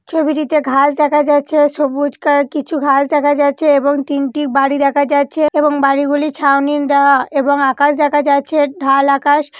ছবিটিতে ঘাস দেখা যাচ্ছে। সবুজ কালার কিছু ঘাস দেখা যাচ্ছে এবং তিনটি বাড়ি দেখা যাচ্ছে এবং বাড়ি গুলি ছাউনি দেওয়া এবং আকাশ দেখা যাচ্ছে। ঢাল আকাশ।